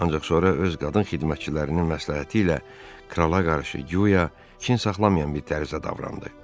Ancaq sonra öz qadın xidmətçilərinin məsləhəti ilə krala qarşı guya kin saxlamayan bir tərzdə davrandı.